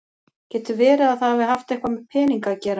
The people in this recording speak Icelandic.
Getur verið að það hafi haft eitthvað með peninga að gera?